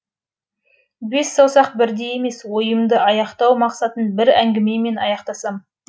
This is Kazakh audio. бес саусақ бірдей емес ойымды аяқтау мақсатын бір әңгімемен аяқтасам